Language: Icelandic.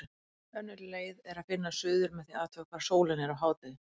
Önnur leið er að finna suður með því að athuga hvar sólin er á hádegi.